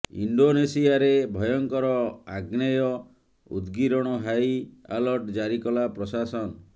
ଇଣ୍ଡୋନେସିଆରେ ଭୟଙ୍କର ଆଗ୍ନେୟ ଉଦଗୀରଣ ହାଇ ଆଲର୍ଟ ଜାରି କଲା ପ୍ରଶାସନ